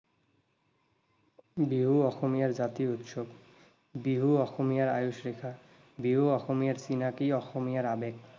বিহু অসমীয়াৰ জাতীয় উৎসৱ, বিহু অসমীয়াৰ আয়ুস ৰেখা, বিহু অসমীয়াৰ চিনাকী, অসমীয়াৰ আৱেগ।